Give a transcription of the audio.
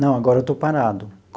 Não, agora eu estou parado.